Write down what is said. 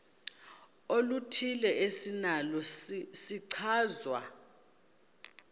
oluthile esinalo isichazwa